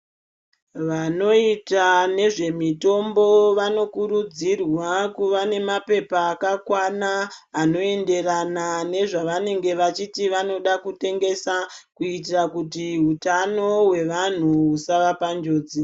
Vanoita nezve mitombo vanokurudzirwa kuvanemapepa akakwana anoenderana nezvavanenge vachiti vanoda kutengesa, kuitira kuti utano hwevantu husava panjodzi.